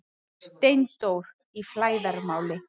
STEINDÓR Í FLÆÐARMÁLI